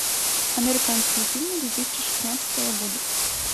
американские фильмы две тысячи шестнадцатого года